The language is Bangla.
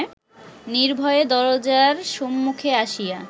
নির্ভয়ে দরজার সম্মুখে আসিয়া